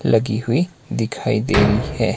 लगी हुई दिखाई दे रही है।